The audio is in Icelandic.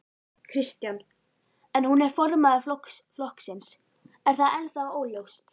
Kristján: En hún er formaður flokksins, er það ennþá óljóst?